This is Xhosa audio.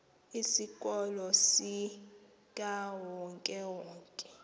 isikolo sikawonke wonke